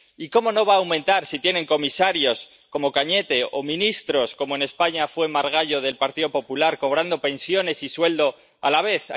Y, cómo no va a aumentar si tiene comisarios como Cañete o antiguos ministros como, en España, Margallo, del Partido Popular, cobrando pensiones y sueldo a la vez.